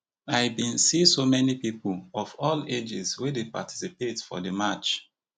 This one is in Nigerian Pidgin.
i bin see so many pipo of all ages wey dey participate for di march